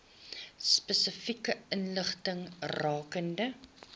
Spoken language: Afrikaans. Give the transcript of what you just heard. spesifieke inligting rakende